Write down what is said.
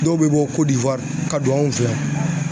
Dɔw be bɔ kodiwari ka don anw fɛ yan